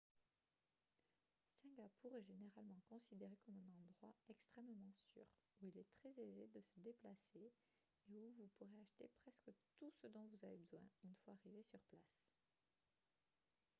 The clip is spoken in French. singapour est généralement considéré comme un endroit extrêmement sûr où il est très aisé de se déplacer et où vous pourrez acheter presque tout ce dont vous avez besoin une fois arrivé sur place